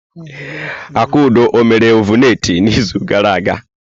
Akudo ọ mere ọvụletị n'izu gara aga?